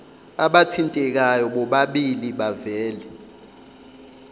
abathintekayo bobabili bavele